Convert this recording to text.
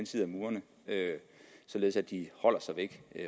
side af murene således at de holder sig væk